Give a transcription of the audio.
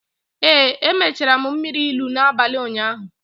Ee, emechara m mmiri ilu n’abalị ụnyaahụ